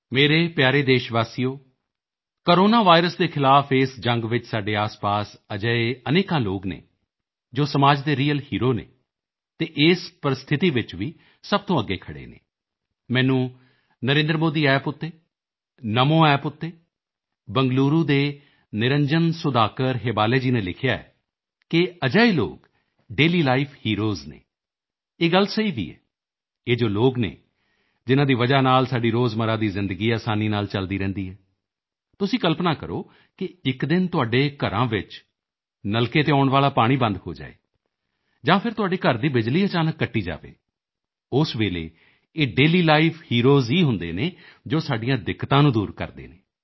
ਮੇਰੇ ਪਿਆਰੇ ਦੇਸ਼ਵਾਸੀਓ ਕੋਰੋਨਾ ਵਾਇਰਸ ਦੇ ਖ਼ਿਲਾਫ਼ ਇਸ ਜੰਗ ਵਿੱਚ ਸਾਡੇ ਆਸਪਾਸ ਅਜਿਹੇ ਅਨੇਕਾਂ ਲੋਕ ਹਨ ਜੋ ਸਮਾਜ ਦੇ ਰੀਅਲ ਹੇਰੋ ਹਨ ਅਤੇ ਇਸ ਪ੍ਰਸਥਿਤੀ ਵਿੱਚ ਵੀ ਸਭ ਤੋਂ ਅੱਗੇ ਖੜ੍ਹੇ ਹਨ ਮੈਨੂੰ ਨਰੇਂਦਰਮੋਦੀ App ਤੇ ਨਾਮੋ App ਤੇ ਬੰਗਲੂਰੂ ਦੇ ਨਿਰੰਜਨ ਸੁਧਾਕਰ ਹੇਬਾਲੇ ਜੀ ਨੇ ਲਿਖਿਆ ਹੈ ਕਿ ਅਜਿਹੇ ਲੋਕ ਡੇਲੀਲਾਈਫ ਹੀਰੋਜ਼ ਹਨ ਇਹ ਗੱਲ ਸਹੀ ਵੀ ਹੈ ਇਹ ਜੋ ਲੋਕ ਹਨ ਜਿਨ੍ਹਾਂ ਦੀ ਵਜ੍ਹਾ ਨਾਲ ਸਾਡੀ ਰੋਜ਼ਮਰਾ ਦੀ ਜ਼ਿੰਦਗੀ ਅਸਾਨੀ ਨਾਲ ਚੱਲਦੀ ਰਹਿੰਦੀ ਹੈ ਤੁਸੀਂ ਕਲਪਨਾ ਕਰੋ ਕਿ ਇੱਕ ਦਿਨ ਤੁਹਾਡੇ ਘਰਾਂ ਵਿੱਚ ਨਲਕੇ ਤੇ ਆਉਣ ਵਾਲਾ ਪਾਣੀ ਬੰਦ ਹੋ ਜਾਵੇ ਜਾਂ ਫਿਰ ਤੁਹਾਡੇ ਘਰ ਦੀ ਬਿਜਲੀ ਅਚਾਨਕ ਕੱਟ ਜਾਵੇ ਉਸ ਵੇਲੇ ਇਹ ਡੇਲੀਲਾਈਫ ਹੀਰੋਜ਼ ਹੀ ਹੁੰਦੇ ਹਨ ਜੋ ਸਾਡੀਆਂ ਦਿੱਕਤਾਂ ਨੂੰ ਦੂਰ ਕਰਦੇ ਹਨ